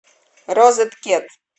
розеткет